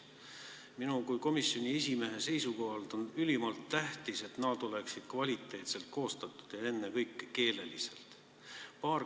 Minu kui komisjoni esimehe seisukohalt on ülimalt tähtis, et nad oleksid kvaliteetselt koostatud ja ennekõike keeleliselt.